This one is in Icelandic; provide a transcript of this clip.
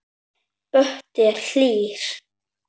Böddi er hlýr.